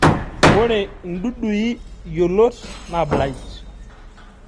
Ore indudui yiolot na blight